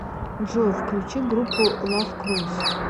джой включи группу лавкрос